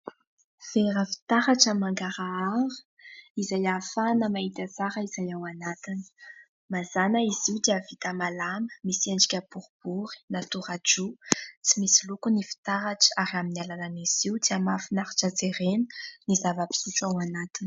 Vera fitaratra mangarahara izay ahafahana mahita tsara izay ao anatiny ; mazana izy io dia vita malama, misy endrika boribory na tora-droa, tsy misy loko ny fitaratra ary amin'ny alalan'izy io dia mahafinaritra jerena ny zava-pisotro ao anatiny.